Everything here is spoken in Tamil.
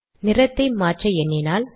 நிறத்தை மாற்ற எண்ணினால்